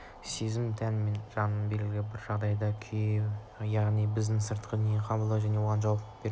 сезім тән мен жанның белгілі бір жағдайдағы күйі яғни біздің сыртқы дүниені қабылдау және оған жауап беру реакция